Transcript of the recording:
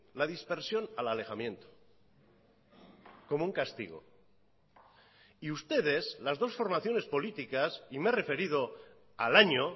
la dispersión al alejamiento como un castigo y ustedes las dos formaciones políticas y me he referido al año